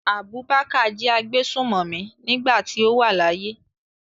Abubakar jẹ́ agbésùmọ̀mí nígbà tí ó wà láyé.